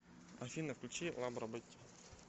афина включи лабро бетти